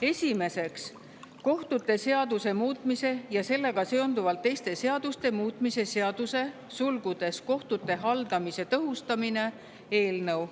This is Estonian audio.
Esiteks, kohtute seaduse muutmise ja sellega seonduvalt teiste seaduste muutmise seaduse eelnõu.